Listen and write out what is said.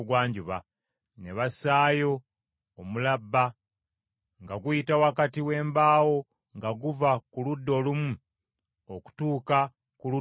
Ne bassaayo omulabba nga guyita wakati w’embaawo nga guva ku ludda olumu okutuuka ku ludda olulala.